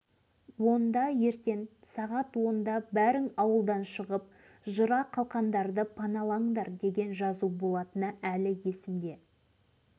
әдетте сынақ болардан бір күн бұрын ауылымыздың үстінен ұшақ ұшып өтетін де ішінде құм толтырылған кішкене дорбашаларды тастап